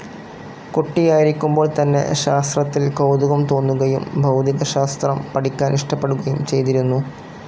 കുട്ടിയായിരിക്കുമ്പോൾ തന്നെ ശാസ്ത്രത്തിൽ കൗതുകം തോന്നുകയും ഭൗതികശാസ്ത്രം പഠിക്കാനിഷ്ടപ്പെടുകയും ചെയ്തിരുന്നു.